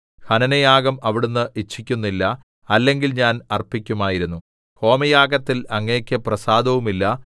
ഹനനയാഗം അവിടുന്ന് ഇച്ഛിക്കുന്നില്ല അല്ലെങ്കിൽ ഞാൻ അർപ്പിക്കുമായിരുന്നു ഹോമയാഗത്തിൽ അങ്ങേക്ക് പ്രസാദവുമില്ല